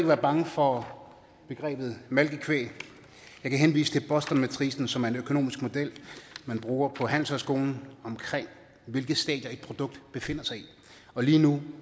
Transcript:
være bange for begrebet malkekvæg jeg kan henvise til bostonmatricen som er en økonomisk model man bruger på handelshøjskolen for hvilke stadier et produkt befinder sig i og lige nu